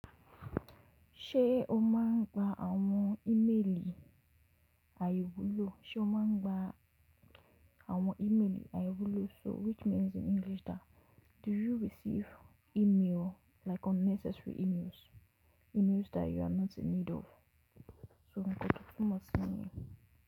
Ṣé o máa ń gba àwọn ìmeelì aiwulo? Ṣé o máa ń gba àwọn ìmeelì aiwulo? So which means in English that do you receive email like unnecessary emails, emails that you are not in need of? So n kò tó máa sínú.